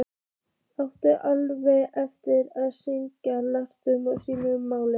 Átti áreiðanlega eftir að skrifa langa skýrslu um málið.